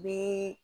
Bi